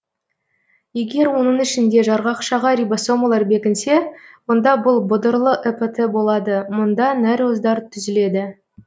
егер оның ішінде жарғақшаға рибосомалар бекінсе онда бұл бұдырлы эпт болады мұнда нәруыздар түзіледі